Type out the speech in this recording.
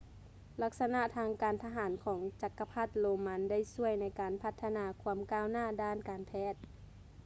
ລັກສະນະທາງການທະຫານຂອງຈັກກະພັດໂຣມັນໄດ້ຊ່ວຍໃນການພັດທະນາຄວາມກ້າວໜ້າດ້ານການແພດ